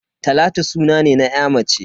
Talatu suna ne na ya mace.